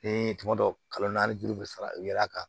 Ni tuma dɔ kalo naani joli bɛ fara u yɛrɛ kan